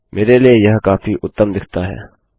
मेरे लिए वह काफी उत्तम दिखता है